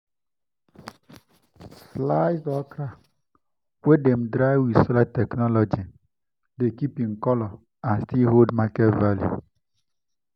sliced okra wey dem dry with solar technology dey keep im colour and still hold market value.